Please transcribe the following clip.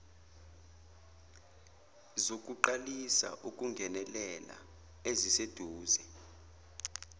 zokuqalisa ukungenelela eziseduze